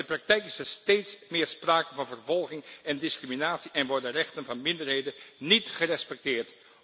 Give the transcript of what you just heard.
Maar in de praktijk is er steeds meer sprake van vervolging en discriminatie en worden rechten van minderheden niet gerespecteerd.